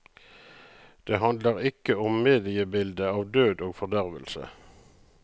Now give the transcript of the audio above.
Det handler ikke om mediebildet av død og fordervelse.